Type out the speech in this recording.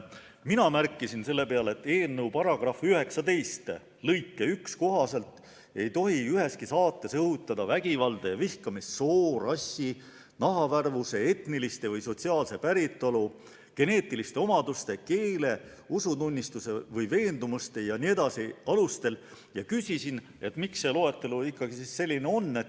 Mina märkisin selle peale, et eelnõu § 19 lõike 1 kohaselt ei tohi üheski saates õhutada vägivalda ja vihkamist soo, rassi, nahavärvuse, etnilise või sotsiaalse päritolu, geneetiliste omaduste, keele, usutunnistuse või veendumuste jne alustel, ja küsisin, miks see loetelu ikkagi selline on.